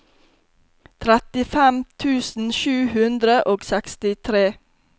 trettifem tusen sju hundre og sekstitre